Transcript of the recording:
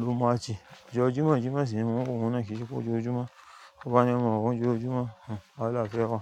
ló mátch. Ọjọ́ Jímọ̀, Jímọ̀ sì ni mo máa wọ ohun náà kì í ṣe pé ójojumo. Ti bá ni maa n wo lojojumo, wahala fe wa.